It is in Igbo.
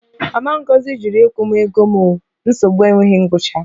Mama Ngozi jụrụ ịkwụ m ego m o, nsogbu enweghị ngwụcha